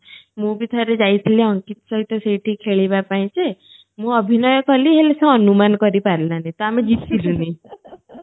ମୁଁ ଭି ଥରେ ଯାଇ ଥିଲି ଅଙ୍କିତ ସହିତ ସେଇଠି ଖେଳିବା ପାଇଁ ଯେ ମୁଁ ଅଭିନୟ କଲି ହେଲେ ସେ ଅନୁମାନ କରି ପାରିଲାନି ତ ଆମେ ଜିତିଲୁନି